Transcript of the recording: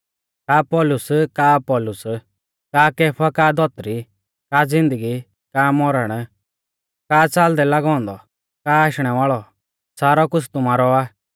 का पौलुस का अपुल्लोस का कैफा का धौतरी का ज़िन्दगी का मौरण का च़ालदै लागौ औन्दौ का आशणै वाल़ौ सारौ कुछ़ तुमारौ आ